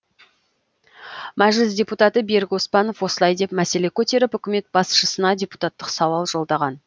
мәжіліс депутаты берік оспанов осылай деп мәселе көтеріп үкімет басшысына депутаттық сауал жолдаған